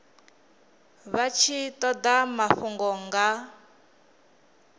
vha tshi toda mafhungo nga